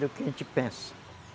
Do que a gente pensa.